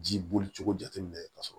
Ji bolicogo jateminɛ ka sɔrɔ